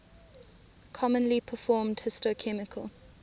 commonly performed histochemical